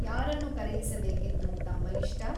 ಯಾರನ್ನು ಕರೆಯಿಸಬೇಕೆಂದು ತಮ್ಮ ಇಷ್ಟ ?